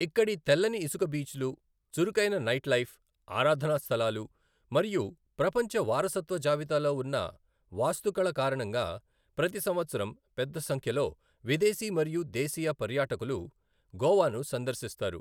ఇక్కడి తెల్లని ఇసుక బీచ్లు, చురుకైన నైట్ లైఫ్, ఆరాధనా స్థలాలు, మరియు ప్రపంచ వారసత్వ జాబితాలో ఉన్న వాస్తుకళ కారణంగా ప్రతి సంవత్సరం పెద్ద సంఖ్యలో విదేశీ మరియు దేశీయ పర్యాటకులు గోవాను సందర్శిస్తారు.